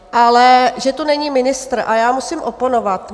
Ale že tu není ministr - a já musím oponovat.